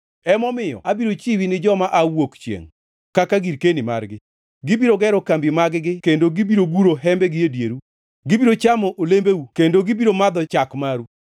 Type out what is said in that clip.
emomiyo abiro chiwi ni joma aa wuok chiengʼ kaka girkeni margi. Gibiro gero kambi mag-gi kendo gibiro guro hembegi e dieru; gibiro chamo olembeu kendo gibiro madho chak maru.